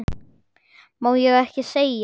Má ekki segja.